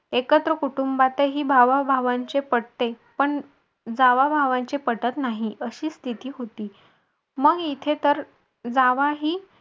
एकत्र कुटुंबात ही भावाभावांचे पटते पण जावाभावांचे पटत नाही अशी स्थिती होती. मग इथे तर जावाही